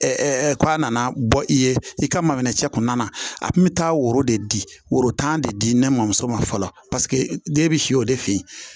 k'a nana bɔ i ye i ka mana cɛ kɔnɔna na a kun bɛ taa woro de woro tan de di ne mɔmuso ma fɔlɔ paseke den bɛ si o de fe yen